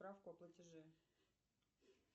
справку о платеже